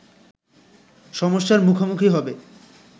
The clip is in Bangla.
সমস্যার মুখোমুখি হবে